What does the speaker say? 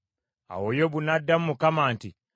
Awo Yobu n’addamu Mukama nti,